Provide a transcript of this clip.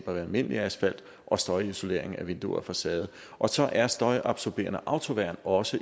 almindelig asfalt og støjisolering af vinduer og facader og så er støjabsorberende autoværn også